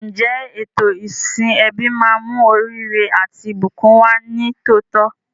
Ǹjẹ́ ètò ìsìn ẹbí máa mú oríire àti ìbùkún wá ní tòótọ́?